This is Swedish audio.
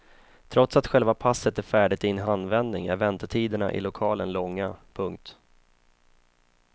Trots att själva passet är färdigt i en handvändning är väntetiderna i lokalen långa. punkt